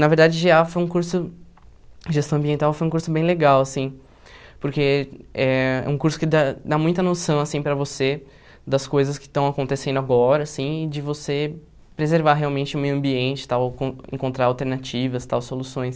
Na verdade, gê á foi um curso, gestão ambiental, foi um curso bem legal assim, porque eh é um curso que dá dá muita noção assim para você das coisas que estão acontecendo agora assim, de você preservar realmente o meio ambiente e tal, encontrar alternativas e tal, soluções.